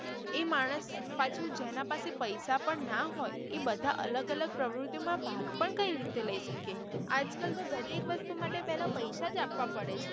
એ માણસ પાછું જેના પાસે પૈસા પણ ના હોય એ બધા અલગ અલગ પ્રવૃતિઓ માં ભાગ પણ કઈ રીતે લઇ શકે આજ કલ તો દરેક વસ્તુ માટે પેહલા પૈસા જ આપવા પડે છે.